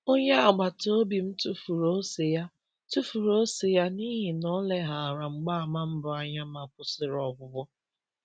Onye agbata obi m tufuru ose ya tufuru ose ya n’ihi na o leghaara mgbaàmà mbụ anya ma kwụsịrị ọgwụgwọ.